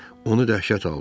Onu dəhşət aldı.